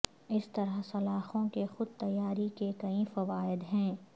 اس طرح سلاخوں کے خود تیاری کے کئی فوائد ہیں